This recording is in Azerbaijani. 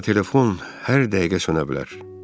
Onsuz da telefon hər dəqiqə sönə bilər.